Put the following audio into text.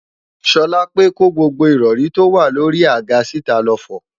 Ṣọlápe kó gbogbo ìrọ̀rí tó wà lórí i àga síta lọ fọ̀